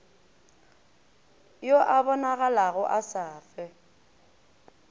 yo a bonagalago a safe